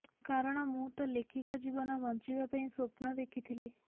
କାରଣ ମୁଁ ତ ଲେଖିକା ଜୀବନ ବଞ୍ଚିବା ପାଇଁ ସ୍ୱପ୍ନ ଦେଖିଥିଲି